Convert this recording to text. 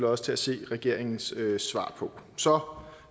også til at se regeringens svar på så